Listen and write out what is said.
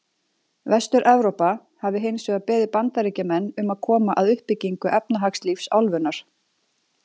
Vestur-Evrópa hafi hins vegar beðið Bandaríkjamenn um að koma að uppbyggingu efnahagslífs álfunnar.